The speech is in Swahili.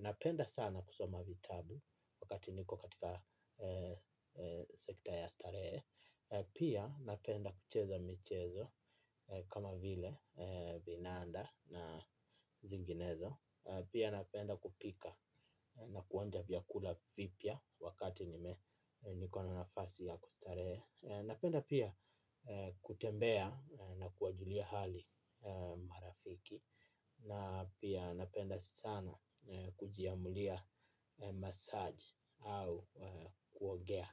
napenda sana kusoma vitabu wakati niko katika sekta ya stare. Pia napenda kucheza michezo kama vile binanda na zinginezo. Pia napenda kupika na kuonja vyakula vibya wakati niko na nafasi ya kustare. Napenda pia kutembea na kuwajulia hali marafiki. Na pia napenda sana kujiamulia massage au kuogea.